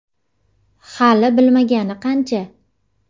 Hali bilmagani qancha.